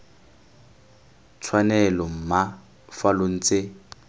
tshwanelo mma fa lo ntse